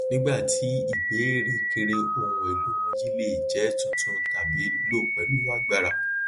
nígbà tí ìbéèrè kéré ohun èlò wọnyí le jẹ tuntun tàbí lo pẹlú agbára